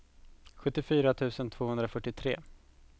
sjuttiofyra tusen tvåhundrafyrtiotre